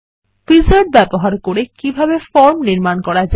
wizard ব্যবহার করে কিভাবে একটি ফর্ম নির্মাণ করা যায়